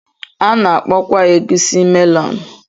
A na-akpọkwa egusi melonu.